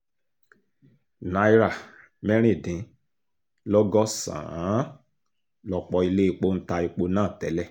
náírà mẹ́rin dín lọ́gọ́sàn-án lọ̀pọ̀ iléepo ń ta epo náà tẹ́lẹ̀